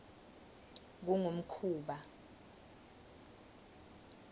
kungumkhuba